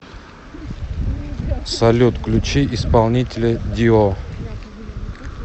салют включи исполнителя дио